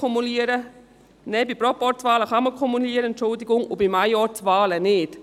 Nein: Bei Proporzwahlen kann man kumulieren, Entschuldigung, und bei Majorzwahlen nicht.